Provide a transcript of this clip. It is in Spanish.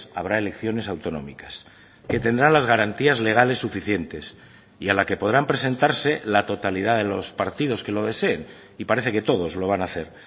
habrá elecciones autonómicas que tendrán las garantías legales suficientes y a la que podrán presentarse la totalidad de los partidos que lo deseen y parece que todos lo van a hacer